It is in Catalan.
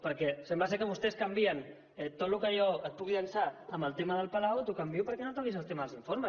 perquè sembla que vostès canvien tot el que jo et puc llançar en el tema del palau t’ho canvio perquè no toquis el tema dels informes